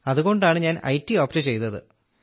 അതുകൊണ്ടാണ് ഞാൻ IT opt ചെയ്തത്